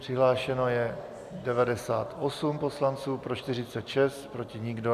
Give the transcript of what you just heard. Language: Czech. Přihlášeno je 98 poslanců, pro 46, proti nikdo.